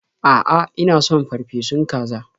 A'a, ina son farfesun kaza.